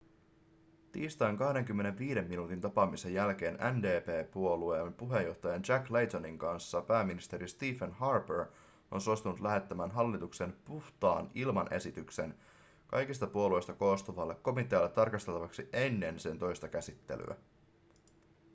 tiistain 25 minuutin tapaamisen jälkeen ndp-puolueen puheenjohtajan jack laytonin kanssa pääministeri stephen harper on suostunut lähettämään hallituksen puhtaan ilman esityksen kaikista puolueista koostuvalle komitealle tarkasteltavaksi ennen sen toista käsittelyä